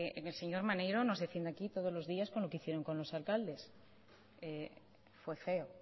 el señor maneiro nos defiende aquí todos los días con lo que hicieron con los alcaldes fue feo